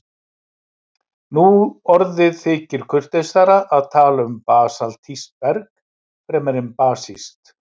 Nú orðið þykir kurteisara að tala um basaltískt berg fremur en basískt.